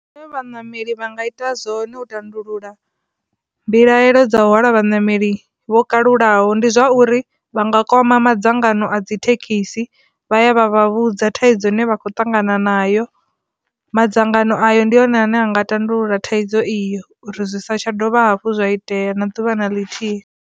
Zwine vhaṋameli vha nga ita zwone u tandulula mbilaelo dza hwala vhaṋameli vho kalulaho ndi zwa uri vha nga kwama madzangano a dzithekhisi vha ya vha vha vhudza thaidzo ine vha khou ṱangana nayo, madzangano ayo ndi hone ane a nga tandulula thaidzo iyo uri zwi sa tsha dovha hafhu zwa itea na ḓuvha na ḽithihi.